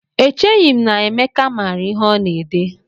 Echeghị m na Emeka maara ihe ọ na-ede